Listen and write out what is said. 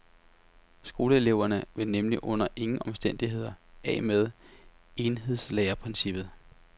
Skoleeleverne vil nemlig under ingen omstændigheder af med enhedslærerprincippet.